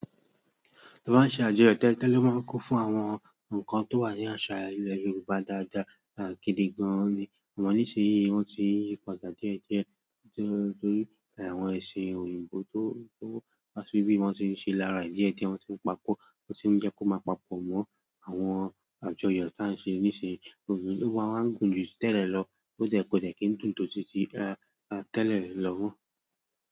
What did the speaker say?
Toba ń ṣe àjọyọ̀ tẹ́lẹ̀ tẹ́lẹ̀ máa ń kún fún àwọn nǹkan tó wà ní àṣà ilẹ̀ Yorùbá dáadáa àti gidi gan-an ni. Ọ̀nà níṣe yìí wọ́n ti yí padà díẹ̀ díẹ̀ torí àwọn ẹṣin òyìnbó tó wà síbí wọ́n ti ń ṣe lára ìdí ẹ ti wọn ti ń pa pọ̀, wọ́n ti ń jẹ́ kó máa papọ̀ mọ́ àwọn àjọyọ̀ tí à ń ṣe níṣì yì òwe wa máa ń gùn ju tẹ́lẹ̀ lọ bó tẹ́ kò tẹ́ kí ń dùn tótí tẹ́lẹ̀ lọ.